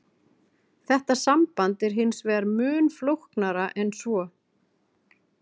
Þetta samband er hins vegar mun flóknara en svo.